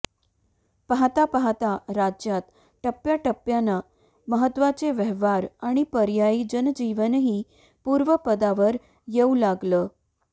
पाहता पाहता राज्यात टप्प्याटप्प्यानं महत्त्वाचे व्यवहार आणि पर्यायी जनजीवनही पूर्वपदावर येऊ लागलं